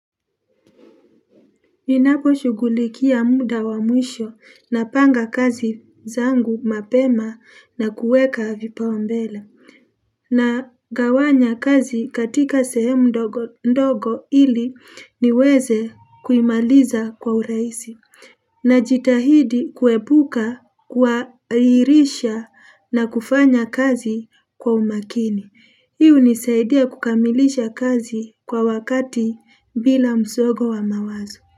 Ninapo shughulikia muda wa mwisho napanga kazi zangu mapema na kuweka vipao mbele. Nagawanya kazi katika sehemu ndogo ndogo ili niweze kuimaliza kwa urahisi. Najitahidi kuhepuka kwahirisha na kufanya kazi kwa umakini. Hii hunisaidia kukamilisha kazi kwa wakati bila msongo wa mawazo.